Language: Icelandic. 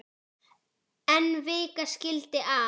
En vika skildi að.